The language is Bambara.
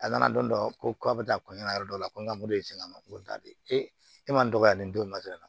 A nana don dɔ ko a bɛ taa kɔɲɔyɔrɔ dɔ la ko n ka e man dɔgɔya nin don na